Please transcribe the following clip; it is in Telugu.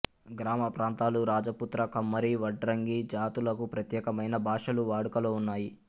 గ్రామప్రాంతాలు రాజపుత్ర కమ్మరి వడ్రంగి జాతులకు ప్రత్యేకమైన భాషలు వాడుకలో ఉన్నాయి